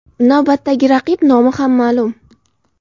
Navbatdagi raqib nomi ham ma’lum .